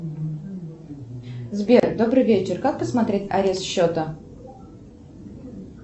сбер добрый вечер как посмотреть арест счета